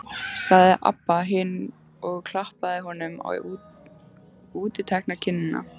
sagði Abba hin og klappaði honum á útitekna kinnina.